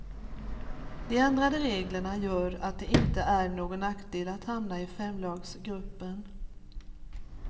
De ändrade reglerna gör att det inte är någon nackdel att hamna i femlagsgruppen.